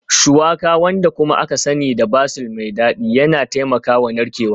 Shuwaka, wanda kuma aka sani da basil mai dadi yana taimakawa narkewa